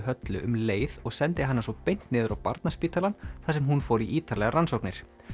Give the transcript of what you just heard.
Höllu um leið og sendi hana svo beint niður á Barnaspítalann þar sem hún fór í ítarlegar rannsóknir